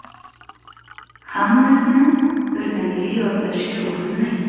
Hammasini birdaniga yodlashga urinmang.